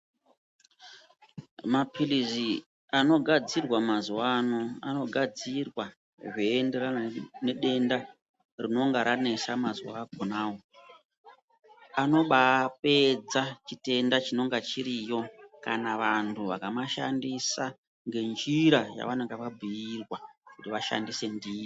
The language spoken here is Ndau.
Maphirizi anogadzirwa mazuva ano anogadzirwa zveienderana nedenda rinonga ranesa mazuva akonavo. Anoba pedza chitenda chinonga chiriyo kana vantu vakamashandisa ngenjira yavanonga vabhuirwa kuti vashandise ndiyo.